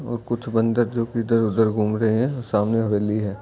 और कुछ बंदर जो कि इधर-उधर घूम रहे है सामने हवेली है।